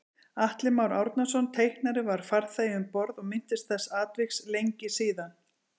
Atli Már Árnason teiknari var farþegi um borð og minntist þessa atviks lengi síðan